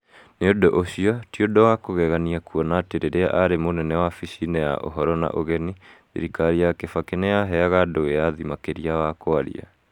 Nĩ ũndũ ũcio, ti ũndũ wa kũgegania kuona atĩ rĩrĩa arĩ munene wabici-inĩ ya Ũhoro na Ũgeni, thirikari ya Kibaki nĩ yaheaga andũ wĩyathi makĩria wa kwaria.